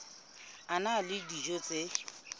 a na le dijo tse